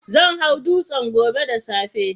Zan hau dutsen gobe da safe.